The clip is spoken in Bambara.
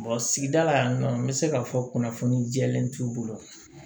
sigida la yan nɔ n bɛ se k'a fɔ kunnafoni jɛlen t'u bolo